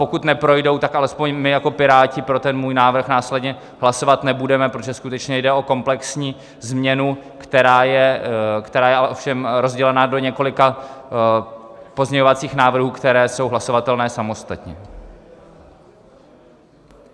Pokud neprojdou, tak alespoň my jako Piráti pro ten můj návrh následně hlasovat nebudeme, protože skutečně jde o komplexní změnu, která je ale ovšem rozdělena do několika pozměňovacích návrhů, které jsou hlasovatelné samostatně.